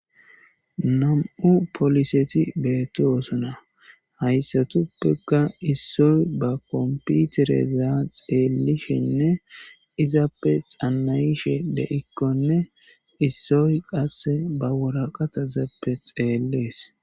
nam7u poliseti beeti osuna hayssatuppeka issoy ba komputerezaa xeellishenne izappe xanayishe de7ikkonne issoy qasse ba woraqata zappe xeellees